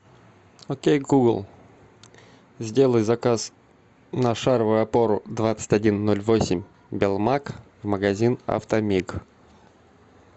окей гугл сделай заказ на шаровую опору двадцать один ноль восемь белмаг магазин автомиг